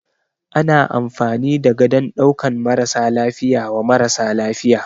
Ana amfani da gadon ɗaukan marasa lafiya wa mara lafiya.